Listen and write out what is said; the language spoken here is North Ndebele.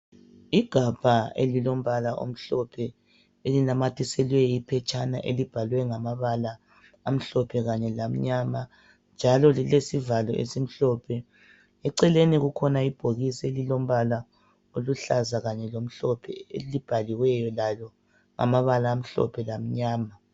Igabha elilombala omhlophe elinamathiselwe iphetshana elibhalwe ngamabala amhlophe kanye lamnyama njalo lilesivalo esimhlophe. Eceleni kukhona ibhokisi elilombala oluhlaza kanye lomhlophe elibhaliweyo lalo amabala amhlophe lamnyama.